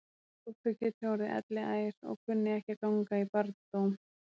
Þótt þau geti orðið elliær og kunni ekki að ganga í barndóm.